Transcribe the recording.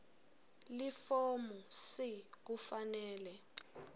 lifomu c kufanele